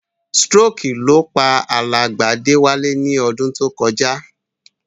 Stroke ló pa alàgbà Déwálé ni odún to kojá